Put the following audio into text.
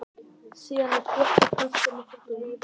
síðan er þjappað að plöntunni með fótum